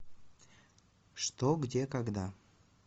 что где когда